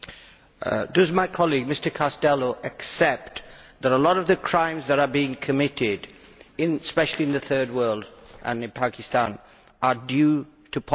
Does my colleague Mr Castaldo accept that a lot of the crimes that are being committed, especially in the Third World and in Pakistan, are due to poverty?